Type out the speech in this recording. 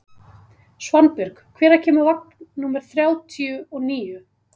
Svanbjörg, hvenær kemur vagn númer þrjátíu og níu?